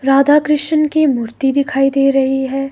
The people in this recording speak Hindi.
राधा कृष्ण की मूर्ति दिखाई दे रही है।